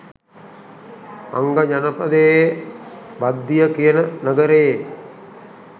අංග ජනපදයේ භද්දිය කියන නගරයේ